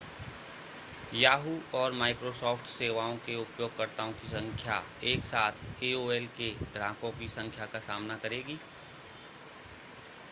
yahoo! और microsoft सेवाओं के उपयोगकर्ताओं की संख्या एकसाथ aol के ग्राहकों की संख्या का सामना करेगी